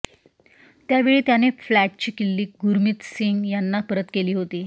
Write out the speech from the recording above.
त्यावेळी त्याने फ्लॅटची किल्ली गुरमीतसिंग यांना परत केली होती